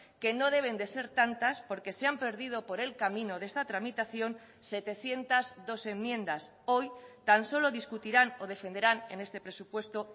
que no deben de ser tantas porque se han perdido por el camino de esta tramitación setecientos dos enmiendas hoy tan solo discutirán o defenderán en este presupuesto